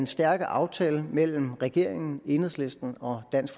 stærke aftale mellem regeringen enhedslisten og dansk